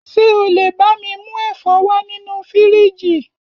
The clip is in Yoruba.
Ṣé o lé bá mi mú ẹ̀fọ́ wá nínú fíríjì